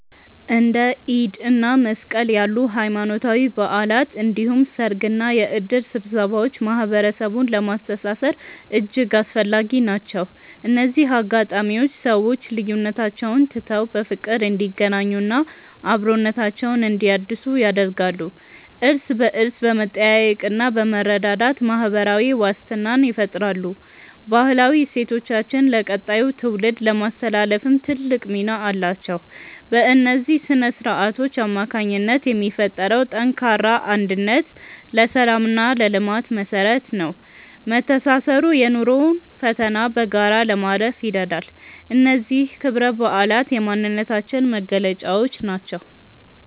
እንደ ኢድ እና መስቀል ያሉ ሃይማኖታዊ በዓላት እንዲሁም ሰርግና የእድር ስብሰባዎች ማህበረሰቡን ለማስተሳሰር እጅግ አስፈላጊ ናቸው። እነዚህ አጋጣሚዎች ሰዎች ልዩነቶቻቸውን ትተው በፍቅር እንዲገናኙና አብሮነታቸውን እንዲያድሱ ያደርጋሉ። እርስ በእርስ በመጠያየቅና በመረዳዳት ማህበራዊ ዋስትናን ይፈጥራሉ። ባህላዊ እሴቶቻችንን ለቀጣዩ ትውልድ ለማስተላለፍም ትልቅ ሚና አላቸው። በእነዚህ ስነ-ስርዓቶች አማካኝነት የሚፈጠረው ጠንካራ አንድነት ለሰላምና ለልማት መሰረት ነው። መተሳሰሩ የኑሮን ፈተና በጋራ ለማለፍ ይረዳል። እነዚህ ክብረ በዓላት የማንነታችን መገለጫዎች ናቸው።